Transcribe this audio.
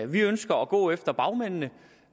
vi ønsker at gå efter bagmændene